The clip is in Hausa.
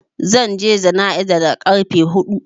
Zan je jana'iza da ƙarfe huɗu.